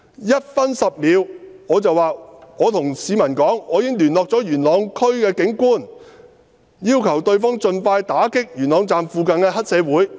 1分10秒：我對市民說："我已經聯絡了元朗區的警官，要求對方盡快打擊元朗站附近的黑社會。